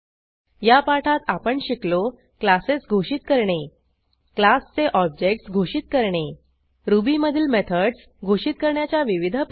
या पाठात आपण शिकलो क्लासेस घोषित करणे क्लासचे ऑब्जेक्ट्स घोषित करणे रुबीमधील मेथडस घोषित करण्याच्या विविध पध्दती